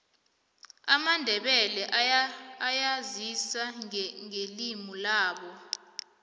amandebele ayazisa ngelimulabo